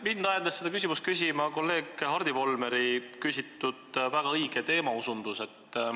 Mind ajendas seda küsimust küsima kolleeg Hardi Volmeri väga õige teemaosutus.